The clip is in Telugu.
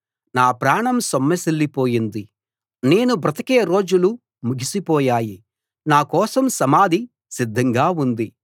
నా ప్రాణం సొమ్మసిల్లిపోయింది నేను బ్రతికే రోజులు ముగిసిపోయాయి నాకోసం సమాధి సిద్ధంగా ఉంది